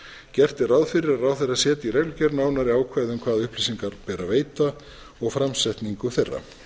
gert er ráð fyrir að ráðherra setji í reglugerð nánari ákvæði um hvaða upplýsingar beri að veita og framsetningu þeirra